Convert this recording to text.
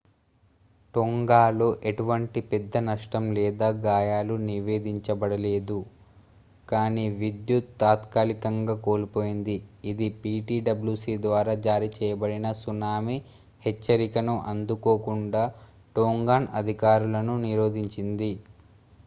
టోంగాలో ఎటువంటి పెద్ద నష్టం లేదా గాయాలు నివేదించబడలేదు కానీ విద్యుత్ తాత్కాలికంగా కోల్పోయింది ఇది ptwc ద్వారా జారీ చేయబడిన సునామీ హెచ్చరికను అందుకోకుండా టోంగాన్ అధికారులను నిరోధించింది